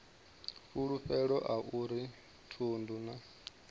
fulufhelo a uri thundu na